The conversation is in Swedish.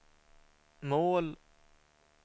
mål